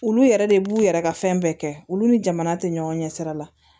Olu yɛrɛ de b'u yɛrɛ ka fɛn bɛɛ kɛ olu ni jamana te ɲɔgɔn ɲɛ sira la